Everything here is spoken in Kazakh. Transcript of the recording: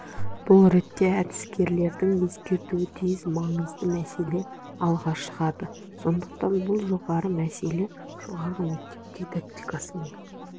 бұл ретте әдіскерлердің ескеруі тиіс маңызды мәселе алға шығады сондықтан бұл жоғары мәселе жоғары мектеп дидактикасымен